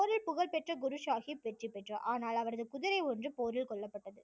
போரில் புகழ்பெற்ற குருசாகிப் வெற்றி பெற்றார் ஆனால் அவரது குதிரை ஒன்று போரில் கொல்லப்பட்டது